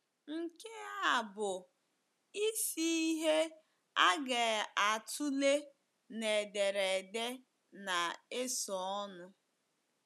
Nke a bụ isi ihe a ga-atụle n’ederede na - esonụ.